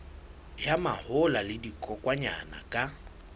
ya mahola le dikokwanyana ka